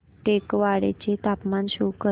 टेकवाडे चे तापमान शो कर